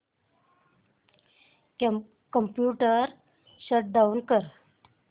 computer shut down कर